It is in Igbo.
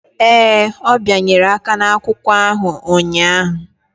Ee, ọ bịanyere aka n'akwụkwọ ahụ ụnyahụ.